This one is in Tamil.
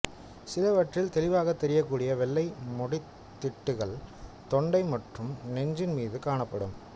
சிலவற்றில் தெளிவாகத் தெரியக்கூடிய வெள்ளை முடித் திட்டுக்கள் தொண்டை மற்றும் நெஞ்சின்மீது காணப்படும்